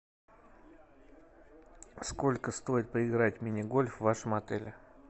сколько стоит поиграть в мини гольф в вашем отеле